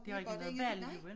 De har ikke noget valg jo vel